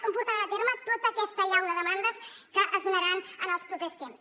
com portaran a terme tota aquesta allau de demandes que es donaran en els propers temps